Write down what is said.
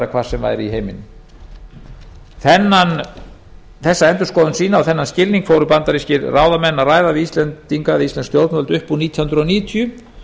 hvar sem væri í heiminum þessa endurskoðun sína og þennan skilning fóru bandarískir ráðamenn að ræða við íslensk stjórnvöld upp úr nítján hundruð níutíu